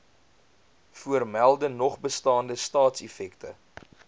voormelde nogbestaande staatseffekte